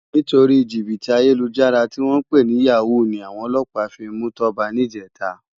Nitóri jibiti àyélújàrá tiwòn pé ni yàwú ni áwòn òlòpá fi mú Toba nijètá